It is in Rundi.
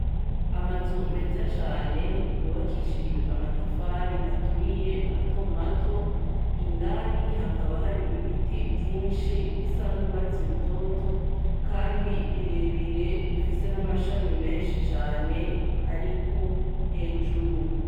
Amazu meza cane yubakishijwe amatafari ahiye matomato, indani hakaba hari ibiti vyinshi bisa n'urwatsi rutoto kandi birebire bifise n'amashami menshi cane ariko hejuru.